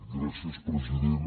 gràcies president